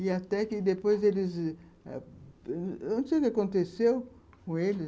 E até que depois eles... ah, eu não sei o que aconteceu com eles.